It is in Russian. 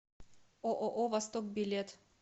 ооо восток билет